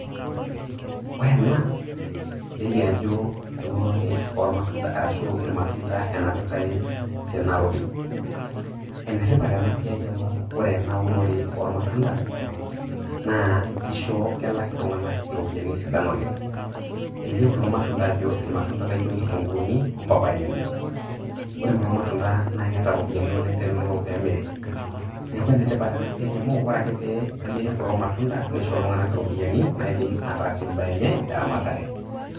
ore ena nelioo ajo eunore oolmatunda. arahu irmatunda enapitae tena rori. enetipat ena siai amu ore enaunore oolmatunda naa kisho kelak iltunganak iropiyiani sidain oleng. elio kulo matunda ajo irmatunda laijo iloo nkitunguuni ompapyeni. ore kulo matunda naa keeta iropyiani oleng tenelo pee emiri. neku enetipat enasiai oleng amu ore ake pee emiri kulo matunda nisho iltunganak iropyiani naidim atasie ebae enye eramatare.